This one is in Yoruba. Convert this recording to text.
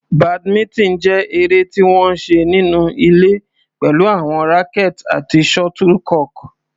Badminton jẹ́ eré tí wọ́n ń ṣe nínú ilé pẹ̀lú àwọn rackets àti shuttlecock.